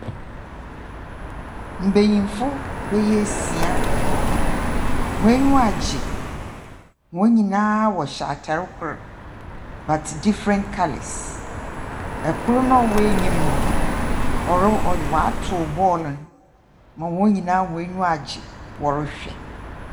Mbanyin bɛyɛ esia hɔn enyiwa agye. Hɔn nyina wɔhyɛ atar kor but different colours. Kor no a ɔwɔ enyim no ɔro ɔ ɔatow bɔɔl no ma hɔn nyina hɔn enyi agye wɔrohwɛ.